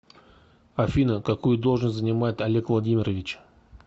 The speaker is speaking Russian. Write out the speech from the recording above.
афина какую должность занимает олег владимирович